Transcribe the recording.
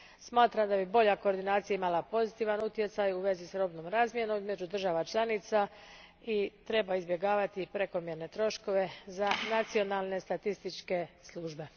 Smatram da bi bolja koordinacija imala pozitivan utjecaj u vezi s robnom razmjenom između država članica i treba izbjegavati prekomjerne troškove za nacionalne statističke službe.